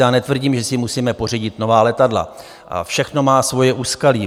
Já netvrdím, že si musíme pořídit nová letadla, všechno má svoje úskalí.